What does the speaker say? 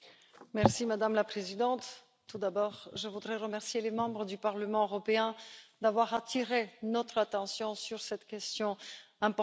Madame la Présidente, tout d'abord, je voudrais remercier les membres du Parlement européen d'avoir attiré notre attention sur cette question importante.